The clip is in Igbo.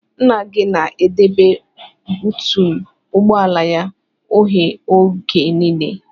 Nna gị na-edebe buutu ụgbọala ya oghe oge nile.